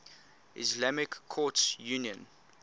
islamic courts union